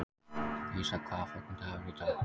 Lísa, hvaða dagur er í dag?